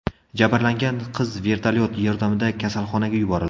Jabrlangan qiz vertolyot yordamida kasalxonaga yuborildi.